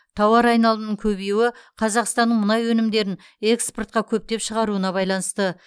тауар айналымның көбеюі қазақстанның мұнай өнімдерін экспортқа көптеп шығаруына байланысты